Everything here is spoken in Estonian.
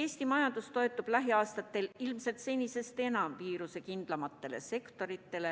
Eesti majandus toetub lähiaastatel ilmselt senisest enam viirusekindlamatele sektoritele,